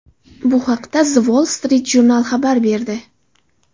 Bu haqda The Wall Street Journal xabar berdi .